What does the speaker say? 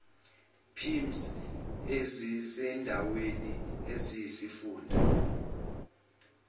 pims ezisendaweni eyisifunda